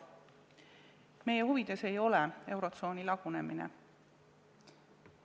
Meie huvides ei ole eurotsooni lagunemine.